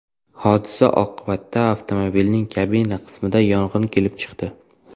Hodisa oqibatida avtomobilning kabina qismida yong‘in kelib chiqdi.